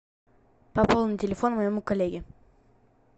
пополни телефон моему коллеге